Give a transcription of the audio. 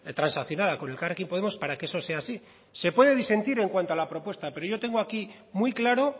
transaccionada con elkarrekin podemos para que eso sea así se puede disentir en cuanto a la propuesta pero yo tengo aquí muy claro